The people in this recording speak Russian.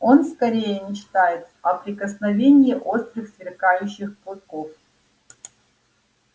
он скорее мечтает о прикосновении острых сверкающих клыков